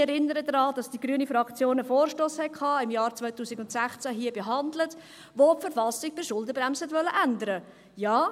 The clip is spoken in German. Ich erinnere daran, dass die grüne Fraktion einen Vorstoss hatte, im Jahr 2016 hier behandelt, der die Verfassung bei einer Schuldenbremse ändern wollte.